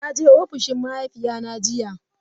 Na je ofishin mahaifina jiya.